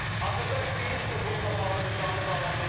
Hazırda biz bununla bağlı bir canlı bağlantıya qoşulacağıq.